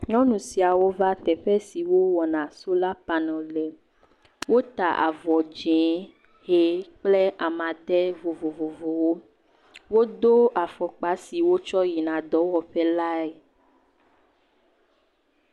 Nyɔnu siawo va teƒe si wowɔna solapaneli le, wota avɔ dzɛ̃, ʋie kple amadede vovovowo, wodo afɔkpa si wotsɔ yina dɔwɔƒe lae.